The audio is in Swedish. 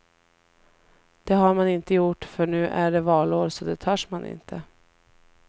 Det har man inte gjort för nu är det valår så det törs man inte.